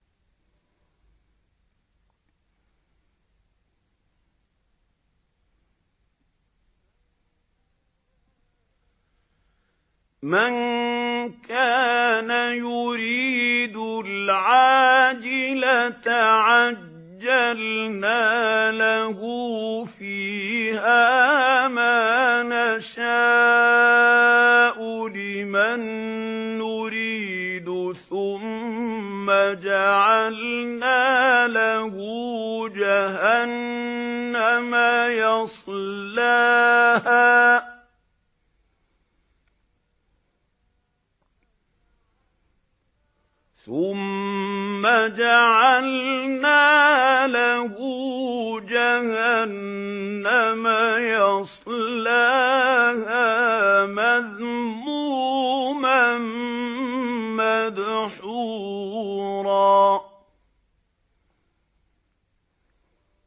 مَّن كَانَ يُرِيدُ الْعَاجِلَةَ عَجَّلْنَا لَهُ فِيهَا مَا نَشَاءُ لِمَن نُّرِيدُ ثُمَّ جَعَلْنَا لَهُ جَهَنَّمَ يَصْلَاهَا مَذْمُومًا مَّدْحُورًا